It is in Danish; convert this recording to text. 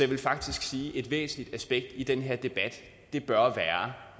vil faktisk sige at et væsentligt aspekt i den her debat bør være